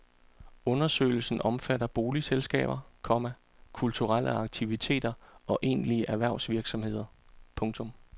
Undersøgelsen omfatter boligselskaber, komma kulturelle aktiviteter og egentlige erhvervsvirksomheder. punktum